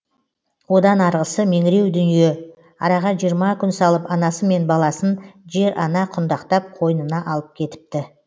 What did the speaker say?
одан арғысы меңіреу дүние араға жиырма күн салып анасы мен баласын жер ана құндақтап қойнына алып кетіпті